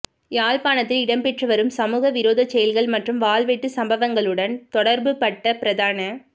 யாழ்ப்பாணத்தில் இடம்பெற்று வரும் சமூக விரோத செயல்கள் மற்றும் வாள்வெட்டு சம்பவங்களுடன் தொடர்புபட்ட பிரதான